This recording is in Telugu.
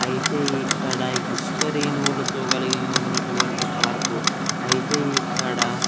ఐతే ఇక్కడ ఇసుక రేణువులతో కలిగినటువంటి పార్క్ ఐతే ఇక్కడ--